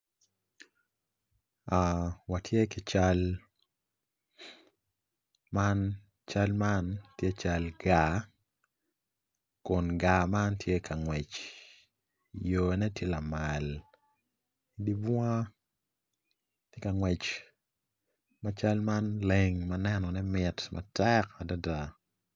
Man atura dok atura man tye madwong adada kun bene nyig kic acel tye ma opye i kom atura man dok nyig kic man tye ka cwiyo moc ature man